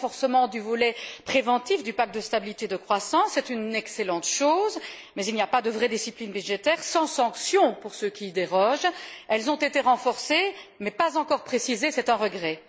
Le renforcement du volet préventif du pacte de stabilité et de croissance, c'est une excellente chose, mais il n'y a pas de vraie discipline budgétaire sans sanction pour ceux qui y dérogent. Ces sanctions ont été renforcées, mais pas encore précisées, c'est un regret.